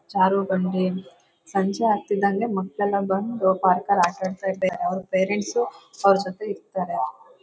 ಜಾರುಬಂಡಿ ಸಂಜೆ ಆಗತಿದಂಗೆ ಮಕ್ಕಳೆಲ್ಲಾ ಬಂದು ಪಾರ್ಕ್ ಅಲ್ಲಿ ಆಟ ಆಡತ್ತಿದ್ದಾರೆ ಅವರ ಪೇರೆಂಟ್ಸ್ ಅವರ ಜೊತೆ ಇರತಾರೆ.